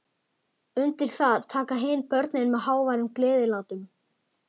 Undir það taka hin börnin með háværum gleðilátum.